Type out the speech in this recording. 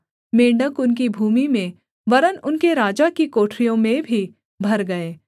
मेंढ़क उनकी भूमि में वरन् उनके राजा की कोठरियों में भी भर गए